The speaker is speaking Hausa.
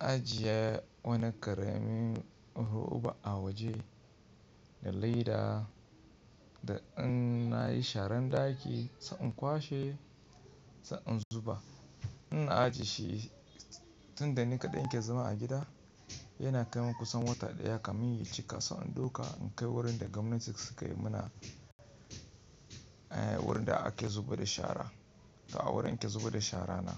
ajiye wani ƙaramin roba a waje da leda, da in na yi sharan ɗaki sa in kwashe sa in zuba. Ina ajiye shi tunda ni kaɗai ke zama a gida. Yana kai min kusan wata ɗaya ka min yi cika sa in ɗauka in kai wurin da gwamnati suka yi mana, wurin da a ke zuba da shara. To a wurin ke zuba da shara na.